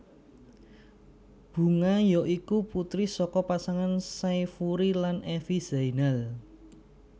Bunga ya iku putri saka pasangan Syafury lan Evi Zainal